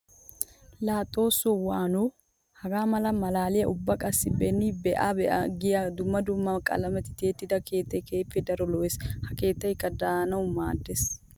Laa xooso waano! Haga mala malaaliya ubba qassikka be'in be'a be'a giya dumma dumma qalamettun tiyettidda keettay keehippe daro lo'ees. Ha keettaykka de'annawu maades.